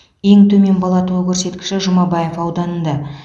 ең төмен бала туу көрсеткіші жұмабаев ауданында